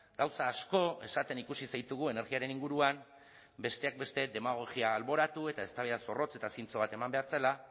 gauza asko esaten ikusi zaitugu energiaren inguruan besteak beste demagogia alboratu eta eztabaida zorrotz eta zintzo bat eman behar zela